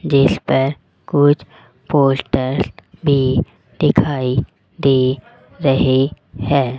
जिसपर कुछ पोस्टर भी दिखाई दे रहे हैं।